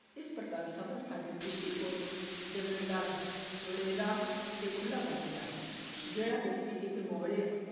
ਇਸ ਪ੍ਰਕਾਰ ਸਫ਼ਰ ਸਾਡੇ ਦ੍ਰਿਸ਼ਟੀਕੋਣ ਨੂੰ ਚੌਗੇੜਾ ਚੌੜੇਰਾ ਤੇ ਖੁੱਲ੍ਹਾ ਕਰ ਦਿੰਦਾ ਹੈ ਜਿਹੜਾ ਵਿਅਕਤੀ ਇੱਕ